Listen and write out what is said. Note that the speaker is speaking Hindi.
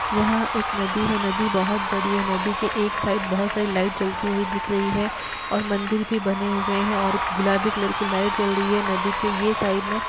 यहाँ एक नदी है नदी बहोत बड़ी है नदी के एक साइड बहोत सारी लाइट जलती हुई दिख रही हैं और मंदिर भी बने हुए हैं और गुलाबी कलर की लाइट जल रही है नदी के ये साइड में।